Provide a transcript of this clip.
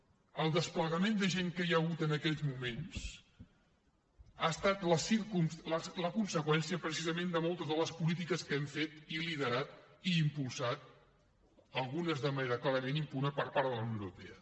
el desplegament de gent que hi ha hagut en aquells moments ha estat la conseqüència precisament de moltes de les polítiques que hem fet i liderat i impulsat algunes de manera clarament impune per part de la unió europea